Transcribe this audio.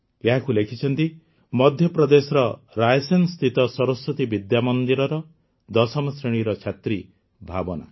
ଏହାକୁ ଲେଖିଛନ୍ତି ମଧ୍ୟପ୍ରଦେଶର ରାୟସେନସ୍ଥିତ ସରସ୍ୱତୀ ବିଦ୍ୟାମନ୍ଦିରର ଦଶମ ଶ୍ରେଣୀର ଛାତ୍ରୀ ଭାବନା